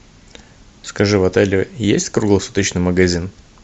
скажи в отеле есть круглосуточный магазин